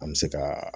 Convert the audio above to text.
An bɛ se ka